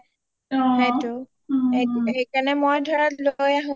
সেইটো সেইকাৰণে মই ধৰা লৈ আহো